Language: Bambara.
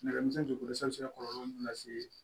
Nɛgɛmisɛnnin jukɔrɔ san be se ka kɔlɔlɔ mun lase